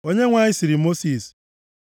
Onyenwe anyị sịrị Mosis,